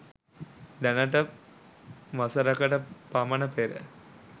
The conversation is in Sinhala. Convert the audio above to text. දැනට වසරකට පමණ පෙර.